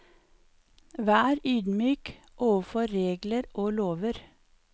Vær ydmyk overfor regler og lover.